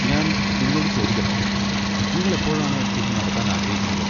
ഞാൻ നിങ്ങളോട് ചോദിക്കട്ടെ, നിങ്ങൾ എപ്പോഴാണ് ഇത് നടത്താൻ ആഗ്രഹിക്കുന്നത്?